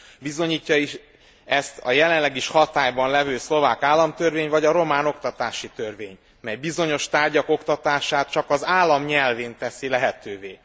Bizonyítja is ezt a jelenleg is hatályban levő szlovák államtörvény vagy a román oktatási törvény, mely bizonyos tárgyak oktatását csak az állam nyelvén teszi lehetővé.